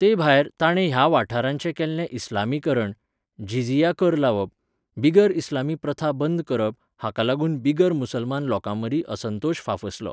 तेभायर, ताणें ह्या वाठाराचें केल्लें इस्लामीकरण, जिझिया कर लावप, बिगर इस्लामी प्रथा बंद करप हांकां लागून बिगर मुसलमान लोकांमदीं असंतोश फाफसलो.